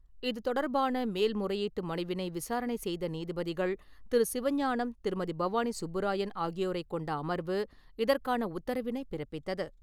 இதுதொடர்பான மேல் முறையீட்டு மனுவினை விசாரணை செய்த நீதிபதிகள் திரு. சிவஞானம், திருமதி பவானி சுப்புராயன் ஆகியோரை கொண்ட அமர்வு இதற்கான உத்தரவினை பிறப்பித்தது.